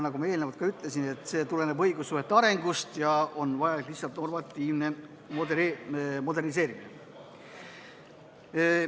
Nagu ma juba ütlesin, see tuleneb õigussuhete arengust ja vajalik on lihtsalt normatiivne moderniseerimine.